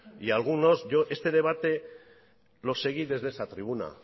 yo este debate lo seguí desde esa tribuna